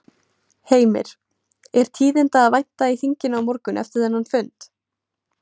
Heimir: Er tíðinda að vænta í þinginu á morgun eftir þennan fund?